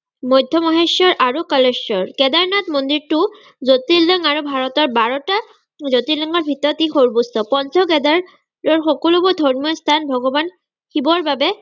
মধ্য-মহেশ্বৰ আৰু কলেশ্বৰ। কেদাৰনাথ মন্দিৰটো জোতিৰ্লিংগ আৰু ভাৰতৰ বাৰটা জোতিৰ্লিংগৰ ভিতৰত ই সৰ্বোচ্চ। পঞ্চ-কেদাৰৰ সকলোবোৰ ধৰ্মীয় স্থান ভগবান শিৱৰবাবে